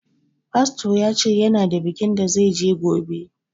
Fasto ya ce ya na da bikin da zai je gobe